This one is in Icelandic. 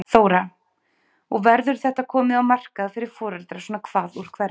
Þóra: Og verður þetta komið á markað fyrir foreldra svona hvað úr hverju?